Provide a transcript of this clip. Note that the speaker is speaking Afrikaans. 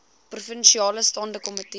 provinsiale staande komitee